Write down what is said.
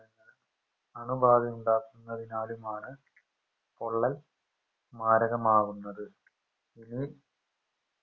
അണുബാധയുണ്ടാക്കുന്നതിലുമാണ് പൊള്ളൽ മാരകമാവുന്നത് അതിന്